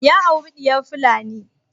Ya auri diyar fulani.